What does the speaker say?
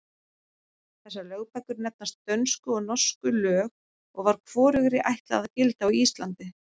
Þessar lögbækur nefnast Dönsku og Norsku lög og var hvorugri ætlað að gilda á Íslandi.